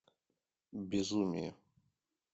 безумие